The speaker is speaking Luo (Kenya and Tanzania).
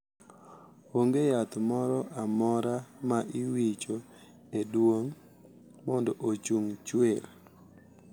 Onge yath moro amora ma iwicho e duong` mondo ochung chuer.